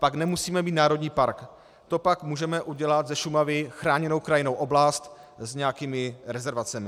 Pak nemusíme mít národní park, to pak můžeme udělat ze Šumavy chráněnou krajinnou oblast s nějakými rezervacemi.